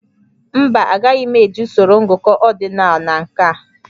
Mba, agaghị m eji usoro ngụkọ ordinal na nke a